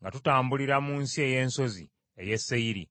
nga tutambulira mu nsi ey’ensozi ey’e Seyiri.